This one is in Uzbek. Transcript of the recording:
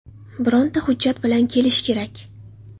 Bironta hujjat bilan kelish kerak.